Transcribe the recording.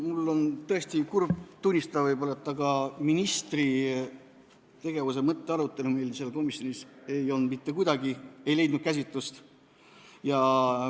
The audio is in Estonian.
Mul on tõesti kurb tunnistada, aga ministri tegevuse mõtte arutelu meil komisjonis mitte kuidagi käsitlust ei leidnud.